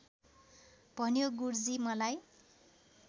भन्यो गुरुजी मलाई